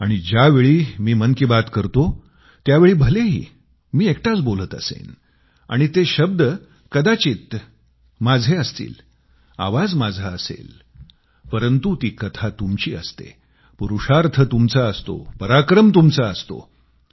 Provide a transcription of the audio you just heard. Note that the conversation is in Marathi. आणि ज्यावेळी मी मन की बात करतो त्यावेळी भलेही मी एकटाच बोलत असेन आणि ते शब्द कदाचित माझे असतील आवाज माझा असेल परंतु ती कथा तुमची असते पुरुषार्थ तुमचा असतो पराक्रम तुमचा असतो